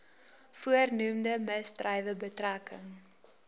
voornoemde misdrywe betrekking